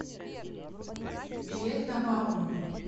билет на баумана